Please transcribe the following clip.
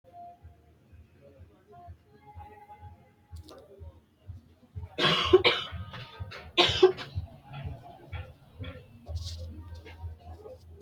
Ga'labbote agarano ayee baserano marte leelittano keere agarittara mannu cancamano base isinni insa difafano gobbate daafira jawu dargi noonsa kuri qodhanora.